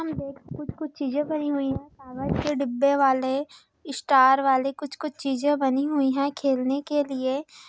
यहाँ पे कुछ-कुछ चीज़े बनी हुई हैं कागज़ के डिब्बे वाले स्टार वाले कुछ-कुछ चीज़े बनी हुई हैं खेलने के लिए।